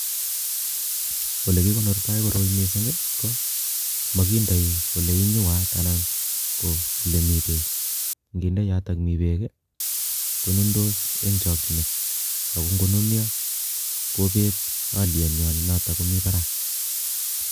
ole gigonortai goroi missing go magindei ole inyuat anan ole mi beek nginde yoto ole mi beek konundos eng chakchinet ago ngonunyo gobet alyengwai notok nemi barak